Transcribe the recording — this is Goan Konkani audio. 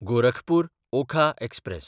गोरखपूर–ओखा एक्सप्रॅस